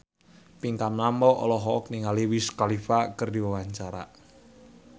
Pinkan Mambo olohok ningali Wiz Khalifa keur diwawancara